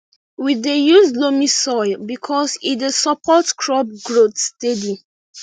we dey use loamy soil because e dey support crop growth steady